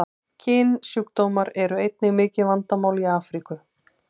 Kynsjúkdómar eru einnig mikið vandamál í Afríku.